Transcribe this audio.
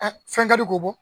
Ɛɛ fɛn ka di ko bɔ?